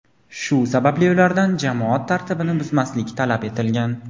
shu sababli ulardan jamoat tartibini buzmaslik talab etilgan.